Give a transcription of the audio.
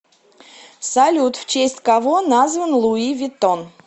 салют в честь кого назван луи виттон